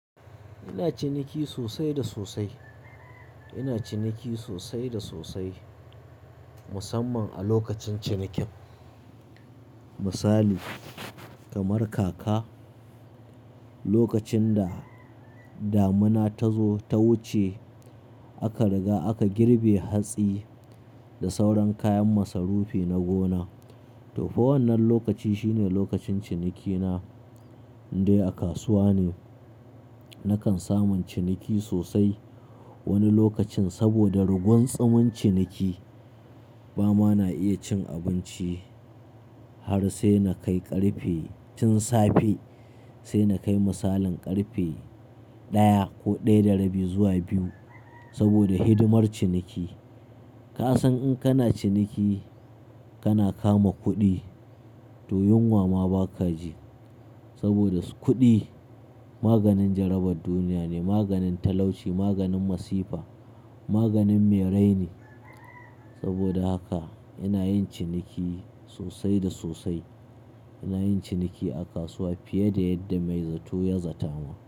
Ina ciniki sosai da sosai. Ina ciniki sosai da sosai musamman a lokacin cinikin. Misali kamar kaka, lokacin da damina ta zo ta wuce aka riga aka girbe hatsi da sauran kayan masarufi na gona. To, fa wannan lokaci shine lokacin cinikina. Indai a kasuwa ne nakan samun ciniki sosai wani lokacin saboda rigun tsumin ciniki ba ma na iya cin abinci har sai na kai ƙarfe, tun safe sai na kai misalin ƙarfe ɗaya ko ɗaya da rabi zuwa biyu saboda hidimar ciniki. Ka san in kana ciniki kana kama kuɗi, to yunwa ma ba ka ji saboda kuɗi maganin jarabar duniya ne, maganin talauci, maganin masifa, maganin mai raini. Saboda haka ina yin ciniki sosai da sosai. Ina yin ciniki a kasuwa fiye da yadda mai zato ya zatama.